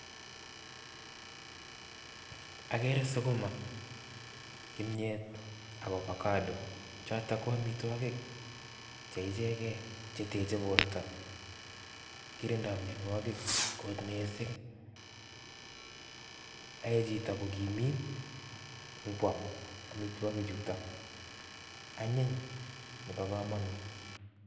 Agere sukuma kimyet ak avocado chotok ko amitwogik che ichegei che techei borto. Kirindoi mienwogik kot mising. Ae chito kokimiit ngwam amituwogik chutok. Anyiny nebo kamanut.